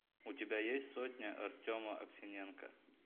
у тебя есть сотня артема аксененко